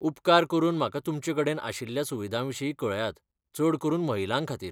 उपकार करून म्हाका तुमचेकडेन आशिल्ल्या सुविधांविशीं कळयात, चड करून महिलांखातीर.